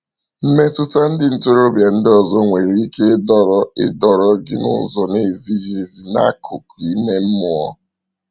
Mmetụta ndị ntorobịa ndị ọzọ nwere ike ịdọrọ ịdọrọ gị n’ụzọ na-ezighị ezi n’akụkụ ime mmụọ.